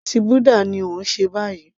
Ẹ̀sìn búdà ni ó ń ṣe báyìí